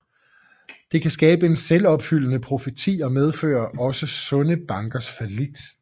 Det kan skabe en selvopfyldende profeti og medføre også sunde bankers fallit